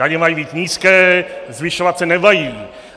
Daně mají být nízké, zvyšovat se nemají.